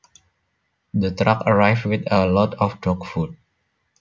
The truck arrived with a load of dog food